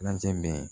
bɛ yen